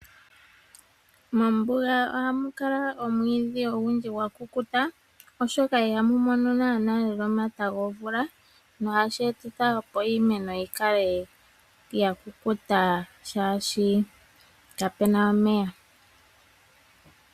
Mombunga ohamuka omwiidhi ogundji gwakukuta oshoka ihamumono omata gomvula, no hashi etitha iimeno yikale yakukuta, shashi kapena omeya.